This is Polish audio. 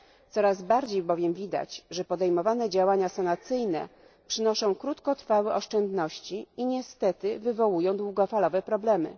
Coraz bardziej bowiem widać, że podejmowane działania sanacyjne przynoszą krótkotrwałe oszczędności i niestety wywołują długofalowe problemy.